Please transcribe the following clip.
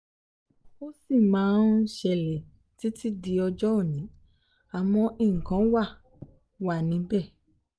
ó sì máa ń ṣẹlẹ̀ títí di ọjọ́ òní àmọ́ nǹkan wá wa níbẹ̀